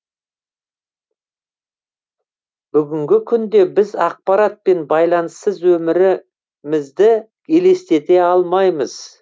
бүгінгі күнде біз ақпарат пен байланыссыз өмірі мізді елестете алмаймыз